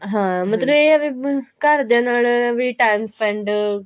ਹਾਂ ਮਤਲਬ ਇਹ ਆ ਵੀ ਘਰਦਿਆਂ ਨਾਲ ਟੈਂਮ spend